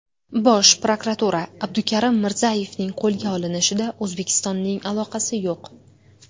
Bosh prokuratura: Abdukarim Mirzayevning qo‘lga olinishida O‘zbekistonning aloqasi yo‘q.